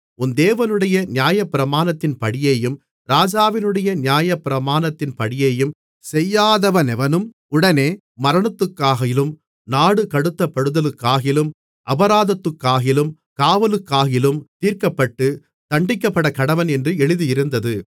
உன் தேவனுடைய நியாயப்பிரமாணத்தின்படியேயும் ராஜாவினுடைய நியாயப்பிரமாணத்தின்படியேயும் செய்யாதவனெவனும் உடனே மரணத்துக்காகிலும் நாடு கடத்தப்படுதலுக்காகிலும் அபராதத்துக்காகிலும் காவலுக்காகிலும் தீர்க்கப்பட்டுத் தண்டிக்கப்படக்கடவன் என்று எழுதியிருந்தது